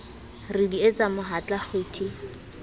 re di etse mohatla kgwiti